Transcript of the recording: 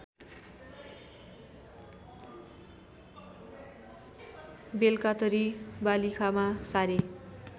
बेलकातरी वालिखामा सारे